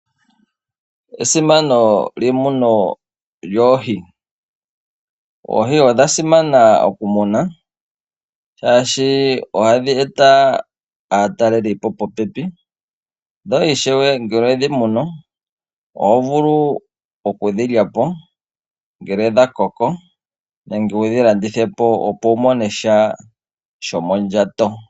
Esimano lyemuno lyoohi. Oohi odha simana okumunwa oshoka ohadhi eta aatalelipo popepi. Dho ngele we dhi munu, oho vulu oku dhi lya po, ngele dha koko nenge wu dhi landithe po opo wu mone sha shomondjato.